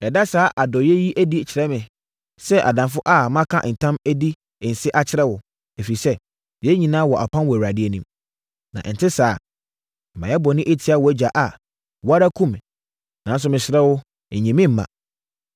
Ɛda saa adɔeɛ yi adi kyerɛ me, sɛ adamfo a maka ntam adi nse akyerɛ wo, ɛfiri sɛ, yɛn nyinaa wɔ apam wɔ Awurade anim. Na sɛ ɛnte saa, na mayɛ bɔne atia wʼagya a, wo ara kum me. Nanso, mesrɛ wo, nyi me mma.”